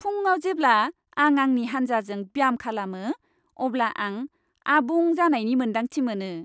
फुंआव जेब्ला आं आंनि हान्जाजों ब्याम खालामो, अब्ला आं आबुं जानायनि मोन्दांथि मोनो।